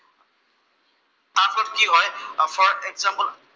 for example